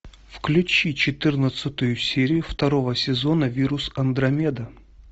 включи четырнадцатую серию второго сезона вирус андромеда